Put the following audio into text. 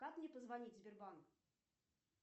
как мне позвонить в сбербанк